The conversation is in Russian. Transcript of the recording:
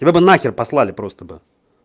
тебя бы на хер послали просто бы